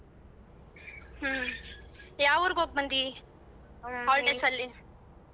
ಹ್ಮ ಯಾವ್ ಊರಗೋಗ್ ಬಂದಿ holidays ಅಲಿ.